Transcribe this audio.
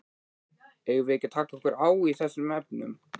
Eigum við ekki að taka okkur á í þessum efnum?